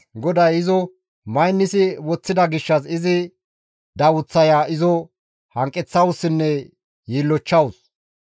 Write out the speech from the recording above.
GODAY izo maynissi woththida gishshas izi dawuththaya izo hanqeththawussinne yiillochchawus.